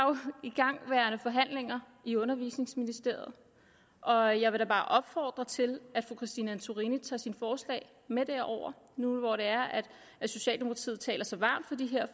igangværende forhandlinger i undervisningsministeriet og jeg vil da bare opfordre til at fru christine antorini tager sine forslag med derover nu hvor det er at socialdemokratiet taler så varmt for de her